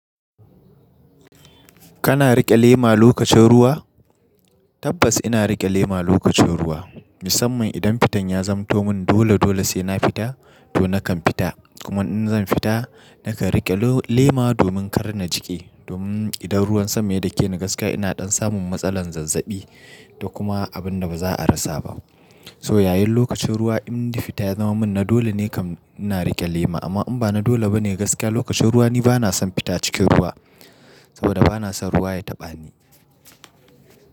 Kana riƙe lema lokacin ruwa? Tabbas ina riƙe lema lokacin ruwa, musamman idan fitan ya zamto mun dole dole sai na fita to nakan fita. Kuma in zan fita nakan riƙe lema domin kar na jiƙe. Domin idan ruwan sama yake ni gaskiya ina ɗan samun matsalar zazzaɓi da kuma abin da ba za a rasa ba. Toh yayin lokacin ruwa in fita ya zama mun na dole ne kam ina riƙe lema. Amma in ba na dole bane gaskiya lokacin ruwa ni bana son fita cikin ruwa saboda bana son ruwa ya taɓa ni.